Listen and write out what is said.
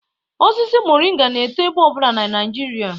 Osisi Moringa na-eto ebe ọbụla na Naijiria